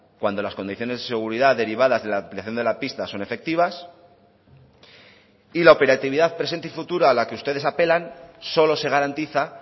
cuando las condiciones de seguridad derivadas de la ampliación de la pista son efectivas y la operatividad presente y futura a la que ustedes apelan solo se garantiza